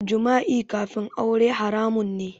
Jima'i kafin aure haramun ne